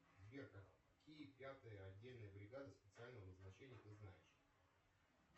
сбер какие пятые отдельные бригады специального назначения ты знаешь